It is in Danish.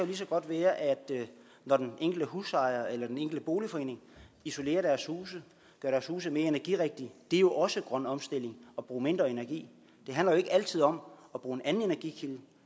lige så godt være når den enkelte husejer eller den enkelte boligforening isolerer deres huse gør deres huse mere energirigtige det er også grøn omstilling at bruge mindre energi det handler jo ikke altid om at bruge en anden energikilde